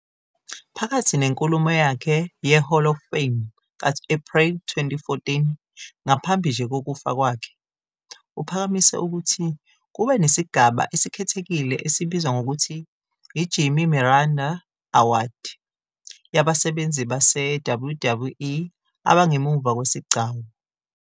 Phakathi nenkulumo yakhe ye-Hall of Fame ka-April 2014 ngaphambi nje kokufa kwakhe, uphakamise ukuthi kube nesigaba esikhethekile esibizwa ngokuthi "i-Jimmy Miranda Award" yabasebenzi base-WWE abangemuva kwesigcawu.